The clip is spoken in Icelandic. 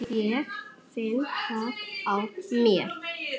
Jæja, hvað um það.